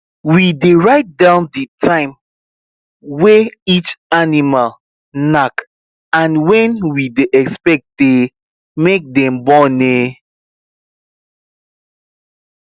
we dey write down the time way each animal knack and when we dey expect um make dem born um